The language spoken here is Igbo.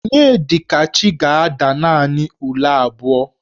Onyedikachi ga-ada naanị ule abụọ.